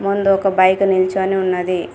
ముందు ఒక బైక్ నిల్చొని ఉన్నది.